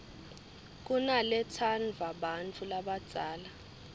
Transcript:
kunaletsandvwa bantfu labadzala